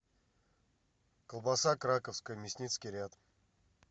колбаса краковская мясницкий ряд